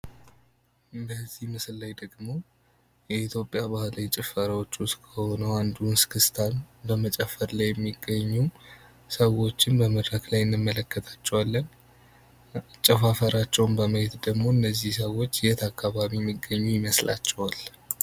በዚህ ምስል ላይ ደግሞ የኢትዮጵያ ባህላዊ ጭፈራዎች ከሆኑ መካከል አንዱ እስክስታ ነው በመጨፈር ላይ የሚገኙ ሰዎች በመድረክ ላይ እንመለከታቸዋለን አጨፋፈራቸውን በማየት ደግሞ እነዚህ ሰዎች የት አከባቢ የሚገኙ ይመስላችኋል?